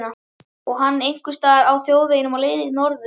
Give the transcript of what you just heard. Og hann einhvers staðar á þjóðvegunum á leið norður.